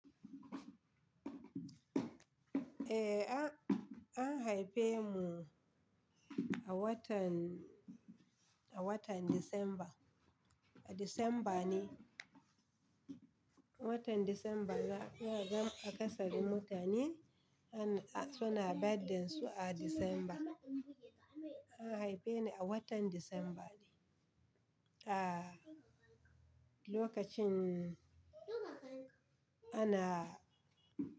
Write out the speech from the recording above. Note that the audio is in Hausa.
Eh, an haife mu a watan, a watan December, a December ne. Watan December na, na gan a ƙasarin mutane, suna birthday su a December. An haife ni a watan December ne. A lokacin ana.